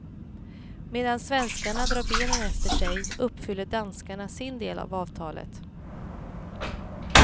Medan svenskarna drar benen efter sig uppfyller danskarna sin del av avtalet.